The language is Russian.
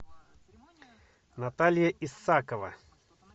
наталья исакова